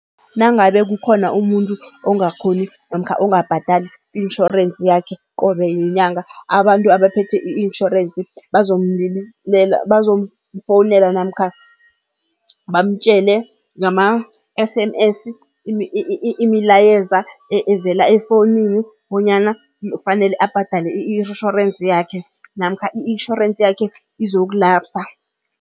Nangabe kukhona umuntu ongakhoni namkha ongabhadali i-insurance yakhe qobe yinyanga abantu abaphethe i-insurance bazomfowunela namkha bamtjele ngama-S_M_S imilayeza evela efowunini bonyana kufanele abhadale i-insurance yakhe namkha i-insurance yakhe izoku-lapser.